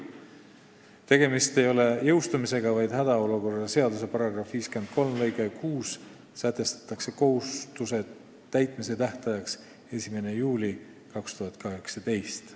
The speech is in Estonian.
Tegemist ei ole jõustumisega, vaid hädaolukorra seaduse § 53 lõikes 6 sätestatakse kohustuse täitmise tähtajaks 1. juuli 2018.